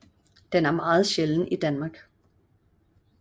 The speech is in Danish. Den er meget sjælden i Danmark